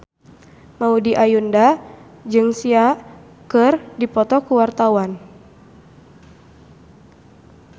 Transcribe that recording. Maudy Ayunda jeung Sia keur dipoto ku wartawan